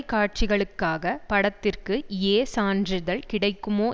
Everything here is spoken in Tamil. காட்சிகளுக்காக பட்ததிற்கு ஏ சான்றிதழ் கிடைக்குமோ